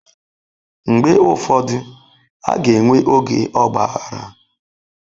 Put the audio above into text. Mgbe ụfọdụ, a ga-enwe oge ọgba aghara.